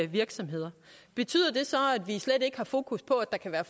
virksomheder betyder det så at vi slet ikke har fokus på at der kan være